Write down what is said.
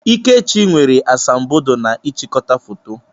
Ikechi nwere asambodo na n'ịchịkọta foto.